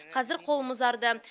қазір қолым ұзарды